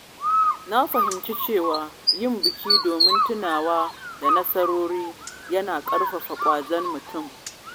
Na fahimci cewa yin biki domin tunawa da nasarori yana ƙarfafa ƙwazon mutum.